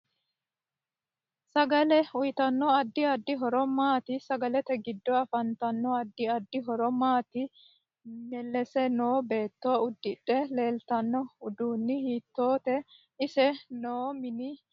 Sagaleuyiitanno addi addi horo maati sagalete giddo afantanno addi addi horo maati melese noo beeto udidhe leetanno uddaon hiitoote ise noo mini minaminohu mayiiniti